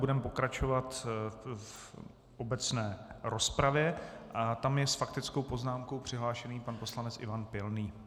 Budeme pokračovat v obecné rozpravě a tam je s faktickou poznámkou přihlášen pan poslanec Ivan Pilný.